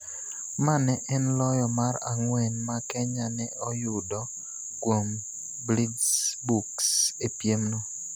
Ma ne en loyo mar ang'wen ma Kenya ne oyudo kuom Blitzboks e piemno.